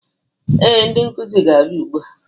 Ee, ndị nkuzi ga-abịa ugbua